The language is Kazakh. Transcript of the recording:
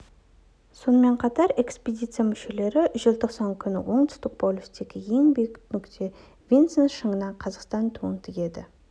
сонымен қатар экспедиция мүшелері желтоқсан күні оңтүстік полюстегі ең биік нүкте винсон шыңына қазақстан туын тігеді